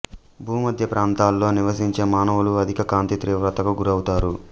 భూమధ్య ప్రాంతంలో నివసించే మానవులు అధిక కాంతి తీవ్రతకు గురవుతారు